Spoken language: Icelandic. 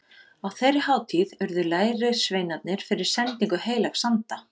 Á þeirri hátíð urðu lærisveinarnir fyrir sendingu heilags anda.